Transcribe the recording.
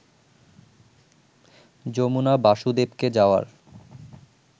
যমুনা বাসুদেবকে যাওয়ার